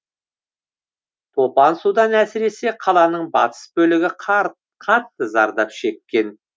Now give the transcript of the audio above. топан судан әсіресе қаланың батыс бөлігі қатты зардап шеккен